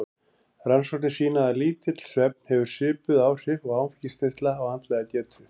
Rannsóknir sýna að lítill svefn hefur svipuð áhrif og áfengisneysla á andlega getu.